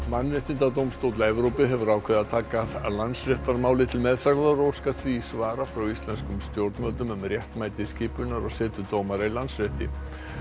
mannréttindadómstóll Evrópu hefur ákveðið að taka Landsréttarmálið til meðferðar og óskar því svara frá íslenskum stjórnvöldum um réttmæti skipunar og setu dómara í Landsrétti